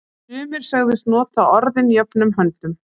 Sumir sögðust nota orðin jöfnum höndum.